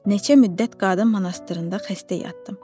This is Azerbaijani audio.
Neçə müddət qadın monastırında xəstə yatdım.